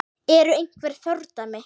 Eru einhver fordæmi?